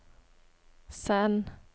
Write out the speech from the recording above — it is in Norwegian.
send